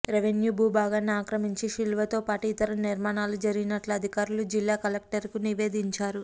revenue భూభాగాన్ని అక్రమించి శిలువతోపాటు ఇతర నిర్మాణాలు జరిగినట్లు అధికారులు జిల్లా కలెక్టర్కు నివేదించారు